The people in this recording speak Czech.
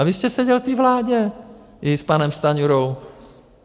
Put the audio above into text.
A vy jste seděl v té vládě i s panem Stanjurou.